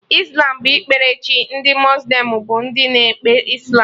Islam bụ ikpere chi, ndị muslim bụ ndị na-ekpe Islam